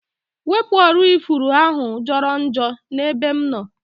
Wepụ ọrụ ifuru ahụa jọrọ njọ n'ebe m nọ